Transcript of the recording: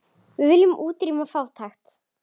Við viljum útrýma fátækt.